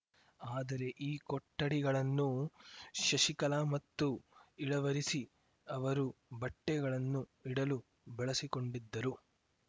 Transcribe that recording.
ಆದರೆ ಈ ಕೊಠಡಿಗಳನ್ನು ಶಶಿಕಲಾ ಮತ್ತು ಇಳವರಸಿ ಅವರು ಬಟ್ಟೆಗಳನ್ನು ಇಡಲು ಬಳಸಿಕೊಂಡಿದ್ದರು